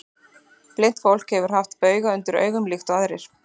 Blint fólk getur haft bauga undir augum líkt og aðrir.